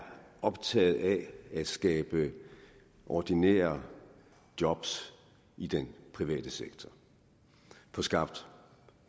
optaget af at skabe ordinære job i den private sektor få skabt